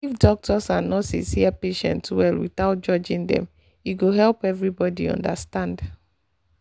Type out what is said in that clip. if doctors and nurses hear patient well without judging dem e go help everybody understand